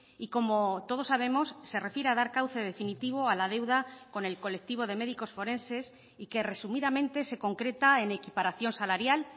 y como todos sabemos se refiere a dar cauce definitivo a la deuda con el colectivo de médicos forenses y que resumidamente se concreta en equiparación salarial